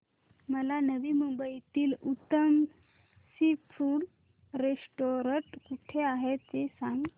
मला नवी मुंबईतलं उत्तम सी फूड रेस्टोरंट कुठे आहे ते सांग